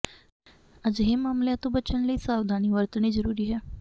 ਅਜਿਹੇ ਮਾਮਲਿਆਂ ਤੋਂ ਬਚਨ ਲਈ ਸਾਵਧਾਨੀ ਵਰਤਣੀ ਜਰੂਰੀ ਹੈ